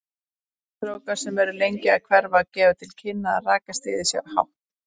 Þykkir strókar sem eru lengi að hverfa gefa til kynna að rakastigið sé hátt.